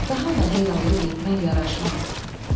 Daha mənə yallı getmək yaraşmaz.